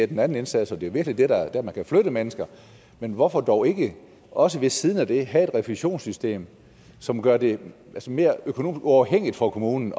den anden indsats virkelig er der man kan flytte mennesker men hvorfor dog ikke også ved siden af det have et refusionssystem som gør det mere økonomisk uafhængigt for kommunen